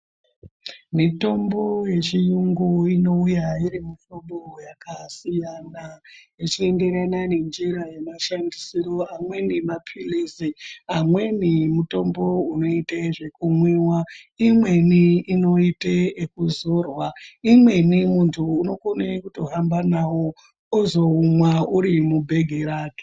Mitombo yechiyungu inouya irimumuhlobo yakasiyana yechienderana nenjira yemashandisiro. Amweni maphilizi amweni mutombo unoite zvekumwiwa. Imweni inoite yekuzorwa, imweni muntu unokone kutohamba nawo ozomwa uri mubhegi rake.